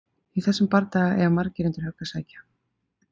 í þessum bardaga eiga margir undir högg að sækja!